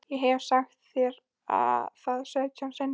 Ég hef sagt þér það sautján sinnum.